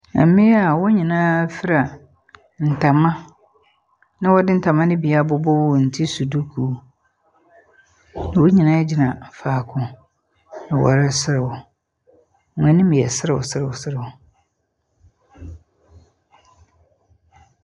Mmea a wɔn nyinaa fira ntama na wɔde ntama no bi abobɔ wɔn ti so dukuu. Wɔn nyinaa gyina faako, na wɔreserew. Wɔn anim yɛ serewserewserew.